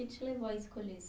Que te levou a escolher esse